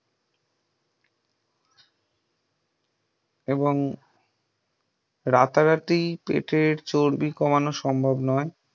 এবং রাতারাতি পেটের চর্বি কমানো সম্ভব নয় ।